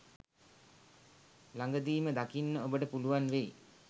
ළඟදීම දකින්න ඔබට පුළුවන් වෙයි.